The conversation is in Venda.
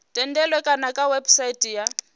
thendelo kana kha website ya